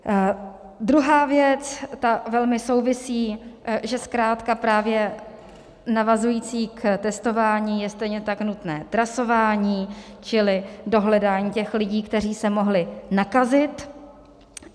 Druhá věc, ta velmi souvisí, že zkrátka právě navazující k testování je stejně tak nutné trasování, čili dohledání těch lidí, kteří se mohli nakazit.